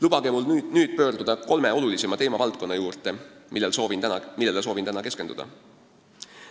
Lubage mul nüüd minna kolme olulisima teemavaldkonna juurde, millele soovin täna keskenduda.